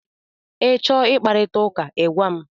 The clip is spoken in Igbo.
Ị chọọ ị kparịta ụka, ị gwa m!